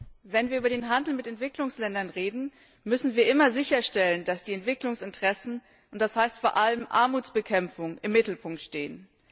Herr Präsident! Wenn wir über den Handel mit Entwicklungsländern reden, müssen wir immer sicherstellen, dass die Entwicklungsinteressen und das heißt vor allem Armutsbekämpfung im Mittelpunkt stehen.